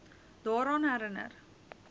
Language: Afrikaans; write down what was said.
daaraan herin ner